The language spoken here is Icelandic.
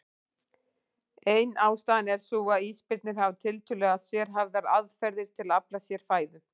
Ein ástæðan er sú að ísbirnir hafa tiltölulega sérhæfðar aðferðir til að afla sér fæðu.